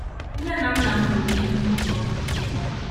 Nne na nna m goro ndị dibịa ọrụ ịgwọ m.